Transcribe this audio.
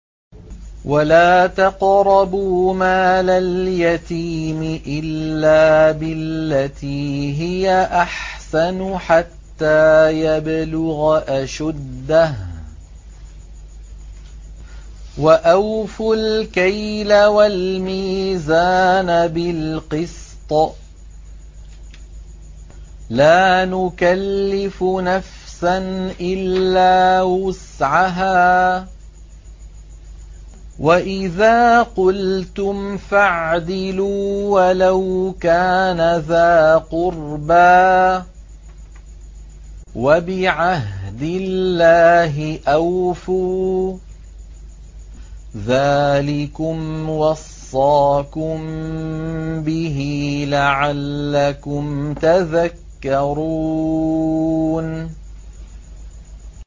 وَلَا تَقْرَبُوا مَالَ الْيَتِيمِ إِلَّا بِالَّتِي هِيَ أَحْسَنُ حَتَّىٰ يَبْلُغَ أَشُدَّهُ ۖ وَأَوْفُوا الْكَيْلَ وَالْمِيزَانَ بِالْقِسْطِ ۖ لَا نُكَلِّفُ نَفْسًا إِلَّا وُسْعَهَا ۖ وَإِذَا قُلْتُمْ فَاعْدِلُوا وَلَوْ كَانَ ذَا قُرْبَىٰ ۖ وَبِعَهْدِ اللَّهِ أَوْفُوا ۚ ذَٰلِكُمْ وَصَّاكُم بِهِ لَعَلَّكُمْ تَذَكَّرُونَ